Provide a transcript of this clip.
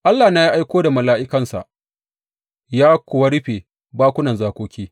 Allahna ya aiko da mala’ikansa, ya kuwa rufe bakunan zakoki.